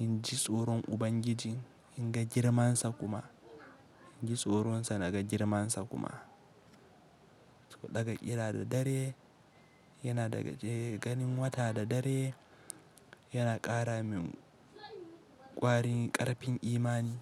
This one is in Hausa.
in ji tsoron Ubangiji, in ga girmansa kuma. In ji tsoronsa da ga girmansa kuma. Daga ƙira da dare yana daga ganin wata da dare, yana ƙara min ƙwarin ƙarfin imani.